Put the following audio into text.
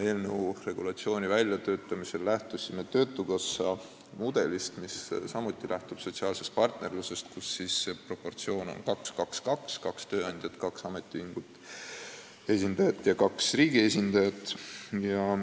Eelnõu regulatsiooni väljatöötamisel lähtusime töötukassa mudelist, mis samuti põhineb sotsiaalsel partnerlusel, kus proportsioon on 2 : 2 : 2, st kaks tööandjate esindajat, kaks ametiühingu esindajat ja kaks riigi esindajat.